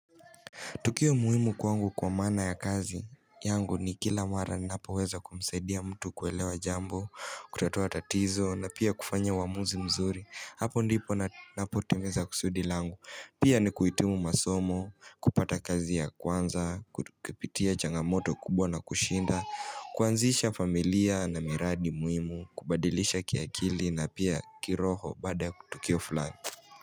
Tukio muhimu kwangu kwa mana ya kazi yangu ni kila mara na hapa weza kumsaidia mtu kuelewa jambo, kutatua tatizo na pia kufanya uamuzi mzuri. Hapo ndipo napo timiza kusudi langu. Pia ni kuhitimu masomo, kupata kazi ya kwanza, kupitia changamoto kubwa na kushinda, kuanzisha familia na miradi muhimu, kubadilisha kiakili na pia kiroho bada kutukio flani.